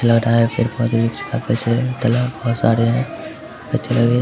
लग रहा है पेड़-पोधे भी काफी सारे तालाब बहुत सारे हैं लगे --